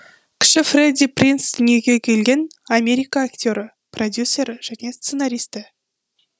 кіші фредди принц дүниеге келген америка актері продюсері және сценаристі